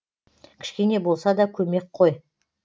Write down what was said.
кішкене болса да көмек қой